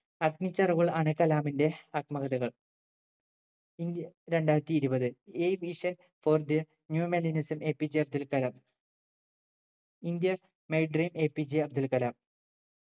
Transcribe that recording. അഗ്നിച്ചിറകുകൾ ആണ് കലാമിന്റെ ആത്മകഥകൾ ഇന്ത്യ രണ്ടായിരത്തി ഇരുപത് A vision for the new millennium is APJ Abdul Kalam india my dream APJ Abdul Kalam